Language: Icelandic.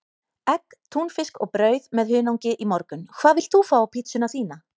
Egg, túnfisk og brauð með hunangi í morgun Hvað vilt þú fá á pizzuna þína?